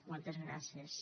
moltes gràcies